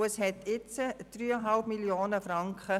Der Restbestand beträgt 3,5 Mio. Franken.